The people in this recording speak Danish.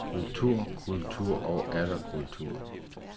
Kultur, kultur, og atter kultur.